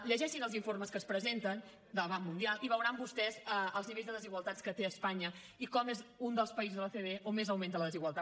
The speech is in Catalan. llegeixin els informes que es presenten del banc mundial i veuran vostès els nivells de desigualtat que té espanya i com és un dels països de l’ocde on més augmenta la desigualtat